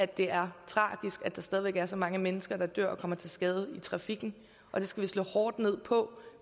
det er tragisk at der stadig væk er så mange mennesker der dør og kommer til skade i trafikken og det skal vi slå hårdt ned på